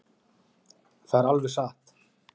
Það er alveg satt.